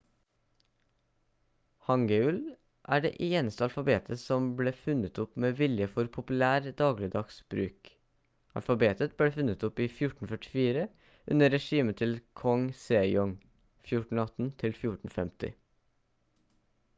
hangeul er det eneste alfabetet som ble funnet opp med vilje for populær dagligdags bruk. alfabetet ble funnet opp i 1444 under regimet til kong sejong 1418–1450